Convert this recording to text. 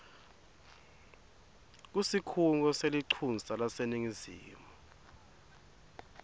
kusikhungo selincusa laseningizimu